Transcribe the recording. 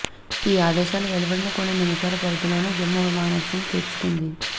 ఈ ఆదేశాలు వెలువడిన కొన్ని నిమిషాల వ్యవధిలోనే జమ్మూ విమానాశ్రయం తెరచుకుంది